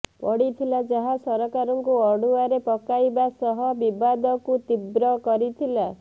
ପଡିଥିଲା ଯାହା ସରକାରଙ୍କୁ ଅଡୁଆରେ ପକାଇବା ସହ ବିବାଦକୁ ତୀବ୍ର କରିଥିଲା